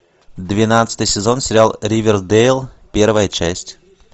двенадцатый сезон сериал ривердейл первая часть